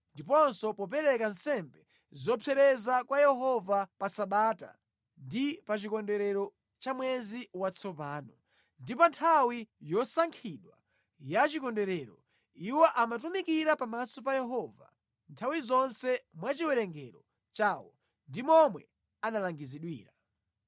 ndiponso popereka nsembe zopsereza kwa Yehova pa Sabata ndi pa chikondwerero cha Mwezi Watsopano, ndi pa nthawi yosankhidwa ya Chikondwerero. Iwo amatumikira pamaso pa Yehova nthawi zonse mwa chiwerengero chawo ndi momwe analangizidwira.